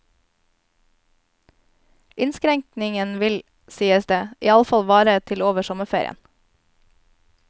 Inskrenkningen vil, sies der, iallfall vare til over sommerferien.